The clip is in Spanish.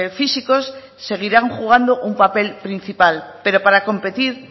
físicos seguirán jugando un papel principal pero para competir